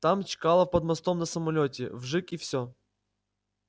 там чкалов под мостом на самолёте вжиг и все